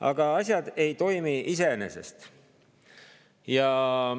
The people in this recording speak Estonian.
Aga asjad ei toimi iseenesest.